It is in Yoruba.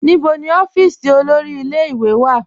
Níbọ̀ ni ọ̀fíísì olórí ìlẹ̀-ìwé wà?